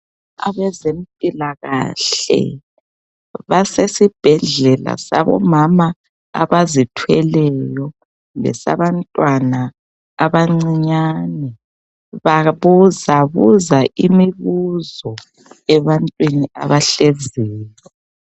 Abezempilakahle basesibhedlela sabomama abazithweleyo. Lesabantwana abancinyane. Babuzabuza imibuzo ebantwini abahleziyo.